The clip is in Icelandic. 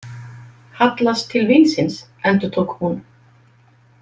Hallast til vínsins, endurtók hún.